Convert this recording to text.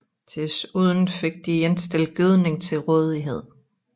Desuden fik de ikke stillet gødning til rådighed